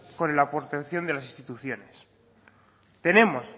con la aportación de las instituciones tenemos